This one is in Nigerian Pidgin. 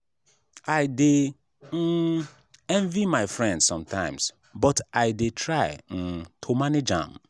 i dey um envy my friend sometimes but i dey try um to manage am.